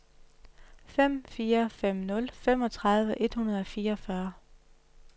fem fire fem nul femogtredive et hundrede og fireogfyrre